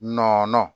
Nɔnɔn